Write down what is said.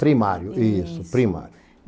Primário, isso, primário.